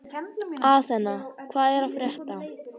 Athena, hvað er að frétta?